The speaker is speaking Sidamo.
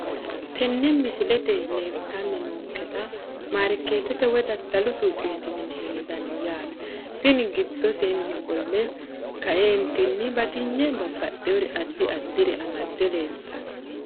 Tene misilete leeltani noonketa markeetete woyi dadalu suuqeti yine hendani yaate tini gidoseeni qole kaeentini batiyne babaxewore adi adire amade leeltano.